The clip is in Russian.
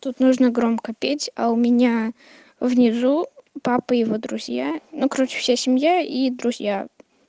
тут нужно громко петь а у меня внизу папа и его друзья ну короче вся семья и друзья